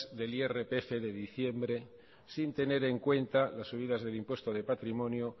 del irpf de diciembre sin tener en cuenta las subidas del impuesto de patrimonio